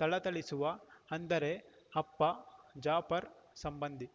ಥಳಥಳಿಸುವ ಅಂದರೆ ಅಪ್ಪ ಜಾಪರ್ ಸಂಬಂಧಿ